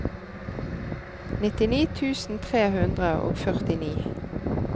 nittini tusen tre hundre og førtini